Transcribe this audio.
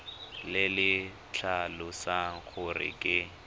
le le tlhalosang gore ke